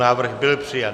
Návrh byl přijat.